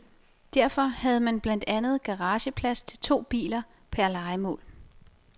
Derfor havde man blandt andet garageplads til to biler per lejemål.